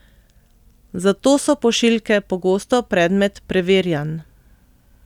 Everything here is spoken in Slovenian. Zato so pošiljke pogosto predmet preverjanj.